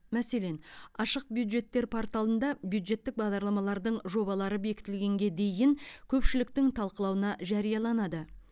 мәселен ашық бюджеттер порталында бюджеттік бағдарламалардың жобалары бекітілгенге дейін көпшіліктің талқылауына жарияланады